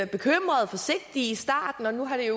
bekymrede forsigtige i starten og nu har det